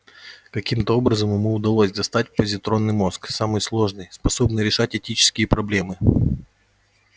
каким-то образом ему удалось достать позитронный мозг самый сложный способный решать этические проблемы